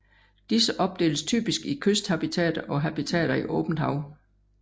Disse opdeles typisk i kysthabitater og habitater i åbent hav